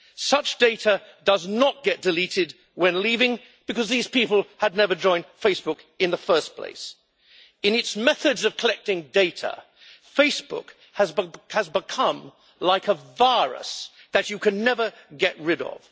Such data does not get deleted when leaving, because these people had never joined Facebook in the first place. In its methods of collecting data, Facebook has become like a virus that you can never get rid of.